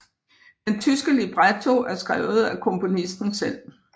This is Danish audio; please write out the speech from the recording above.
Den tyske libretto er skrevet af komponisten selv